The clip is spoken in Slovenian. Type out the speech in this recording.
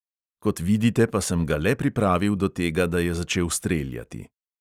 Kot vidite, pa sem ga le pripravil do tega, da je začel streljati.